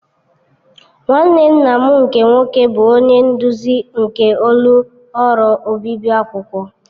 Nwanne nna m nke nwoke bụ onye nduzi nke ọlụ ọrụ obibi akwụkwọ.